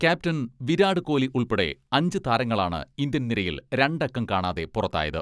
Captain Virat Kohli ഉൾപ്പെടെ അഞ്ച് താരങ്ങളാണ് ഇന്ത്യൻ നിരയിൽ രണ്ടക്കം കാണാതെ പുറത്തായത്.